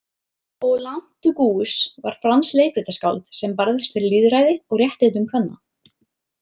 Olympe de Gouges var franskt leikritaskáld sem barðist fyrir lýðræði og réttindum kvenna.